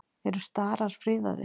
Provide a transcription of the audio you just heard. Eru starar friðaðir?